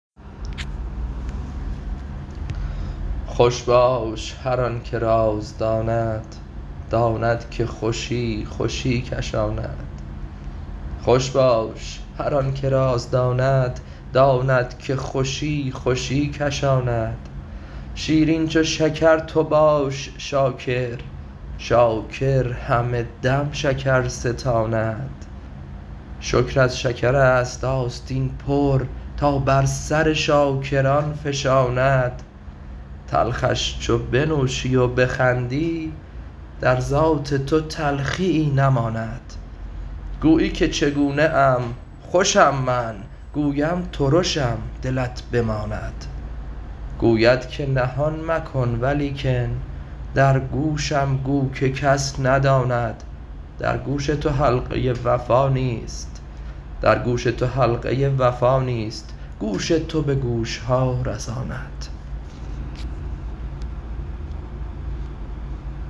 خوش باش که هر که راز داند داند که خوشی خوشی کشاند شیرین چو شکر تو باش شاکر شاکر هر دم شکر ستاند شکر از شکرست آستین پر تا بر سر شاکران فشاند تلخش چو بنوشی و بخندی در ذات تو تلخیی نماند گویی که چگونه ام خوشم من گویم ترشم دلت بماند گوید که نهان مکن ولیکن در گوشم گو که کس نداند در گوش تو حلقه وفا نیست گوش تو به گوش ها رساند